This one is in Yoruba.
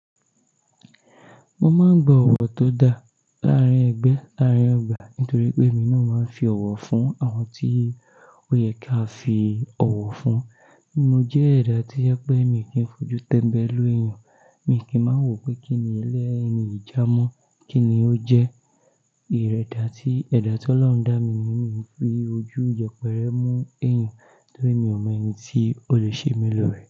Mo máa ń gba ọ̀wọ̀ tó da láàárín ẹgbẹ́, láàárín ọgbà nítorí pé èmi náà máa ń fi ọ̀wọ̀ fún àwọn tí ó yẹ kí a fi ọ̀wọ̀ fún. Mo jẹ́ ẹ̀dá to jẹ pé mi kì í fojú tẹ́mbẹ́lú ẹ̀yàn, mi kì í máa mọ wípé kí ni ẹlẹ́ni yi jà mọ́, kí ni ó jẹ́. Ìrẹ́dà tí ẹ̀dá ti olorun dá mi niyen mi ń fi ojú yepẹ́rẹ́ mú ẹ̀yàn torí mi ò mọ eni tí ó lè ṣe mi lórí rẹ̀.